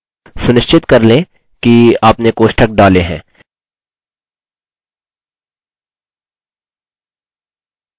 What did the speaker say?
सुनिश्चित कर लें कि आपने कोष्ठक डालें हैं